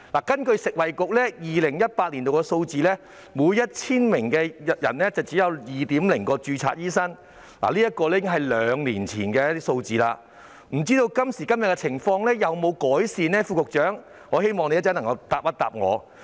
根據食物及衞生局2018年的數字，每 1,000 人只有2名註冊醫生，這已是兩年前的數字，不知道今時今日的情況有否改善，我希望副局長稍後能夠回答我。